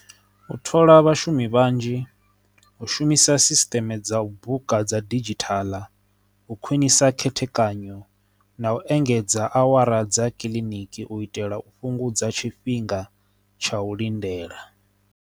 U thola vhashumi vhanzhi, u shumisa sisteme dza u buka dza didzhithala, u khwinisa khethekanyo na u engedza awara dza kiḽiniki u itela u fhungudza tshifhinga tsha u lindela.